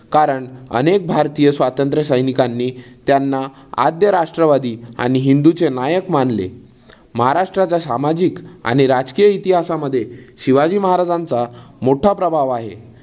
कारण, अनेक भारतीय स्वातंत्र्य सैनिकांनी त्यांना आद्य राष्ट्रवादी आणि हिंदूचे नायक मानले. महाराष्ट्राच्या सामाजिक आणि राजकीय इतिहासमध्ये शिवाजी महाराजांचा मोठा प्रभाव आहे.